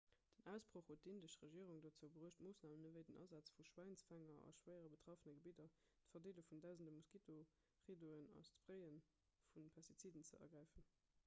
den ausbroch huet d'indesch regierung dozou bruecht moossnamen ewéi den asaz vu schwäinsfänger a schwéier betraffene gebidder d'verdeele vun dausende moskitoriddoen an d'spraye vu pestiziden ze ergräifen